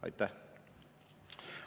Aitäh!